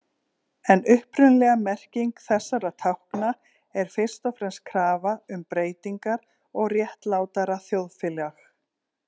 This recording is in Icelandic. En upprunalega merking þessara tákna er fyrst og fremst krafa um breytingar og réttlátara þjóðfélag.